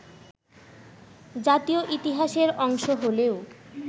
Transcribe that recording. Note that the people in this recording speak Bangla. জাতীয় ইতিহাসের অংশ হলেও